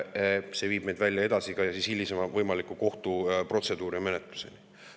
See võib meid välja viia ka hilisema kohtu- ja protseduurimenetluseni.